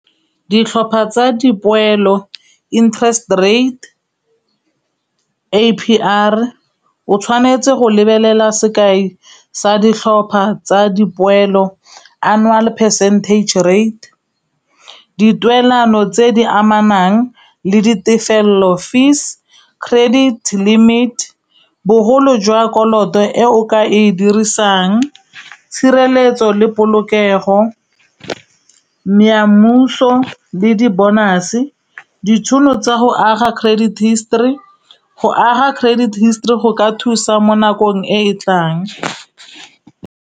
Ditlhopha tsa dipoelo interest rate, A_P_R o tshwanetse go lebelela sekai sa ditlhopha tsa dipoelo annual percentage rate, dituelano tse di amanang le di tefello, fees, credit limit boholo jwa kolote e o ka e dirisang, tshireletso le polokego, maya mmuso le di bonase, ditšhono tsa go aga credit history, go aga credit history go ka thusa mo nakong e e tlang.